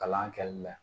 Kalan kɛli la